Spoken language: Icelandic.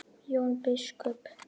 Jón biskup